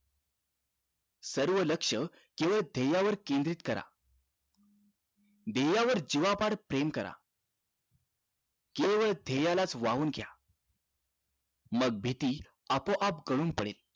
सर्व लक्ष केवळ ध्येया वर केंद्रित करा ध्येय वर जीवापाड प्रेम करा केवळ ध्येयालाच वावून घ्या मग भीती आपोआप गळून पडेल